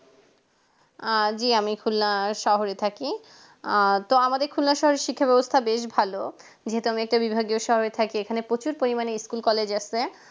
আ জি আমি খুলনার শহরে থাকি আ তো আমাদের খুলনা শহরের শিক্ষা ব্যবস্থা বেশ ভালো যেহেতু আমি একটা বিভাগে স্বাভাবিক থাকি এখানে প্রচুর পরিমাণে school college আছে